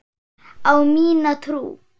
Á mína trú.